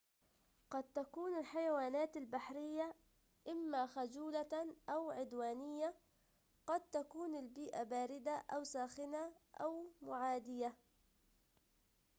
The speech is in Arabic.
قد تكون الحيوانات البرية إما خجولة أو عدوانية قد تكون البيئة باردة أو ساخنة أو معادية